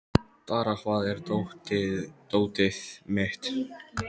Dara, hvar er dótið mitt?